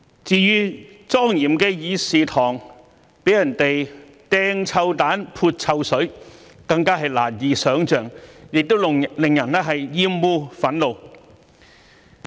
至於莊嚴的議事堂被人扔臭彈、潑臭水，更是難以想象，亦令人感到厭惡、憤怒。